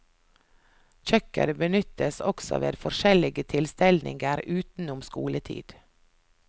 Kjøkkenet benyttes også ved forskjellige tilstelninger utenom skoletid.